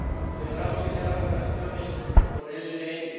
Celebramos que se abran conversaciones con el ELN.